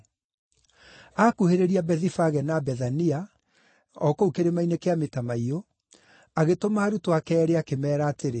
Aakuhĩrĩria Bethifage na Bethania, o kũu Kĩrĩma-inĩ kĩa Mĩtamaiyũ, agĩtũma arutwo ake eerĩ, akĩmeera atĩrĩ,